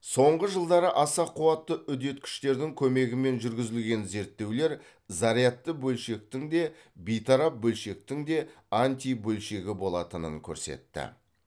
соңғы жылдары аса қуатты үдеткіштердің көмегімен жүргізілген зерттеулер зарядты белшектің де бейтарап бөлшектің де антибөлшегі болатынын көрсетті